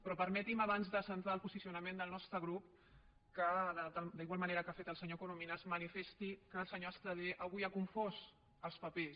però permeti’m abans de centrar el posicionament del nostre grup que d’igual manera que ha fet el senyor corominas manifesti que el senyor estradé avui ha confós els papers